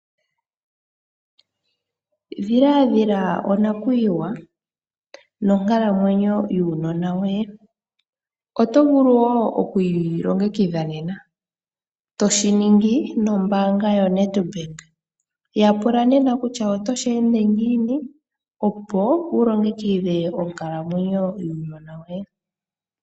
Ndhilandhila onakuyiwa nonkalamwenyo yuunona woye. Oto vulu wo okwiilongekidha nena toshiningi nombaanga yo NEDBANK. Yapula nena kutya oto shi ende ngiini opo wulongekidhe onkalamwenyo yuunona woye.